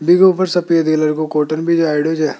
लिगो पर सपेदी कलर को कॉटन भी जाओडे छ।